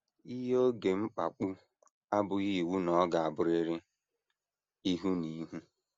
Iyi oge mkpapụ abụghị iwu na ọ ga - abụrịrị ihu na ihu.